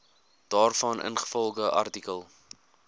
daarvan ingevolge artikel